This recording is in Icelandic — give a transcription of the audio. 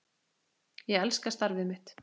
Ég elska starfið mitt.